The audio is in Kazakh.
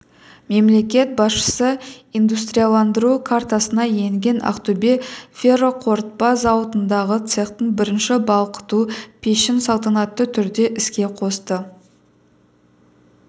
мемлекет басшысы индустрияландыру картасына енген ақтөбе ферроқорытпа зауытындағы цехтың бірінші балқыту пешін салтанатты түрде іске қосты